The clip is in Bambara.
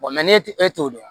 ne e t'o dɔn